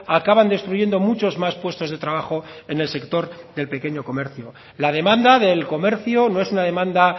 acaban destruyendo muchos más puestos de trabajo en el sector del pequeño comercio la demanda del comercio no es una demanda